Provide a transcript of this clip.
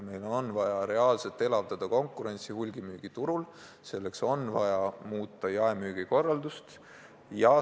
Meil on vaja reaalselt elavdada konkurentsi hulgimüügiturul, aga selleks on vaja muuta jaemüügi korraldust.